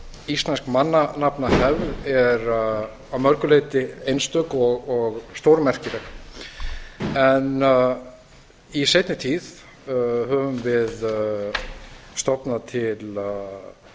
íslensk mannanafnahefð er að mörgu leyti einstök og stórmerkileg en í seinni tíð höfum við stofnað til